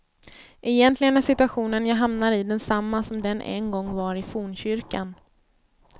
Egentligen är situationen jag hamnar i densamma som den en gång var i fornkyrkan.